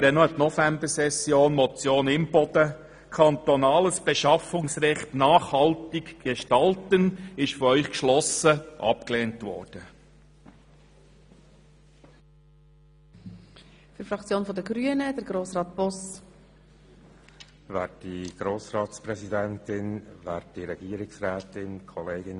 Ich erinnere an die Novembersession: Die Motion Imboden «Kantonales Beschaffungsrecht nachhaltig gestalten» wurde von Ihnen geschlossen abgelehnt.